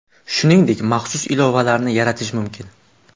Shuningdek, maxsus ilovalarni yaratish mumkin.